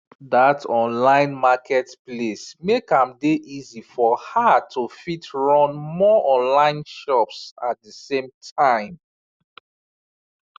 that online market place make am dey easy for her to fit run more online shops at the same time